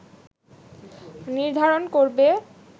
নির্ধারণ করবে